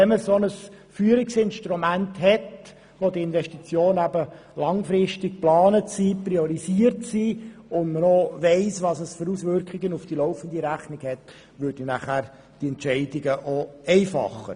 Wenn man ein solches Führungsinstrument hat, um die Investitionen langfristig zu planen und zu priorisieren, und die Auswirkungen auf die laufende Rechnung bekannt wären, würde dies die Entscheidungen vereinfachen.